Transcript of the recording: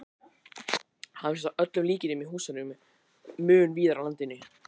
Hann finnst að öllum líkindum í húsum mun víðar á landinu.